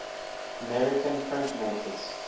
american printmakers